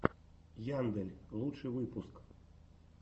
яндель лучший выпуск